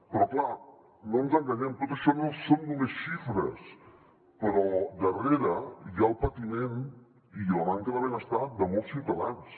però clar no ens enganyem tot això no són només xifres perquè darrere hi ha el patiment i la manca de benestar de molts ciutadans